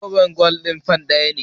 Zobon gwal ɗin fan ɗaya.